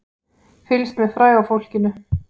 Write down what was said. Fylgst með fræga fólkinu